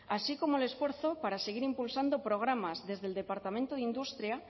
así como el esfuerzo para seguir impulsando programas desde el departamento de industria